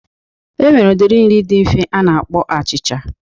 E nwere udiri nri di nfe a na-akpọ achịcha.